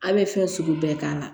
A' bɛ fɛn sugu bɛɛ k'a la